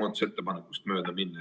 muudatusettepanekust mööda minna.